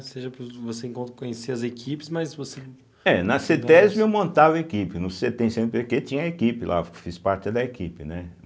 Ou seja, você encon conhecia as equipes, mas você... É, na cêtésbe eu montava equipe, no cêtem, cêenepêquê, tinha equipe lá, fiz parte até da equipe, né?